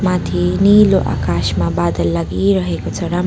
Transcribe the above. माथि नीलो आकाशमा बादल लागिरहेको राम--